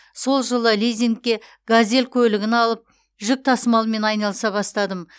сол жылы лизингке газель көлігін алып жүк тасымалымен айналыса бастадым